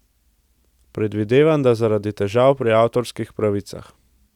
Predvidevam, da zaradi težav pri avtorskih pravicah.